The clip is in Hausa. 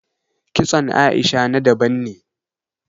Kitson Aisha na daban ne